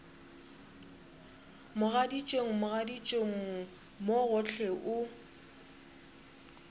mogaditšong mogaditšong mo gohle o